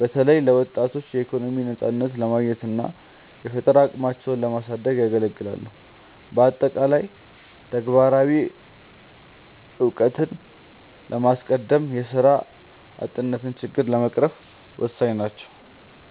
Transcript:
በተለይ ለወጣቶች የኢኮኖሚ ነፃነትን ለማግኘትና የፈጠራ አቅማቸውን ለማሳደግ ያገለግላሉ። በአጠቃላይ፣ ተግባራዊ እውቀትን በማስቀደም የስራ አጥነትን ችግር ለመቅረፍ ወሳኝ ናቸው።